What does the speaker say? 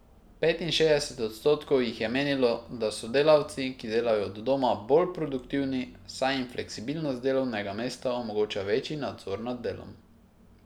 Petinšestdeset odstotkov jih je menilo, da so delavci, ki delajo od doma, bolj produktivni, saj jim fleksibilnost delovnega mesta omogoča večji nadzor nad delom.